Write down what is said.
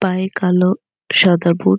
পায়ে কালো সাদা বুট ।